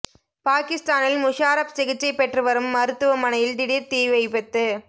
பாகிஸ்தானில் முஷாரப் சிகிச்சை பெற்று வரும் மருத்துவமனையில் திடீர் தீ விபத்து